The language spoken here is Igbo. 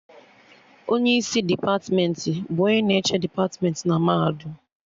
Onye isi depatmentị bụ onye na-eche depatmentị na mahadum